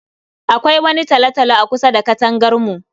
Akwai wani talo-talo akusa da katangar mu.